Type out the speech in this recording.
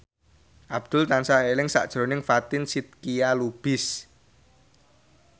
Abdul tansah eling sakjroning Fatin Shidqia Lubis